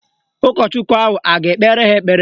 Ụkọchukwu ahụ a ga-ekpere ha ekpere?